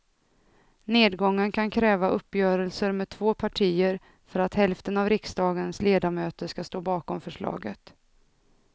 Nedgången kan kräva uppgörelser med två partier för att hälften av riksdagens ledamöter ska stå bakom förslaget.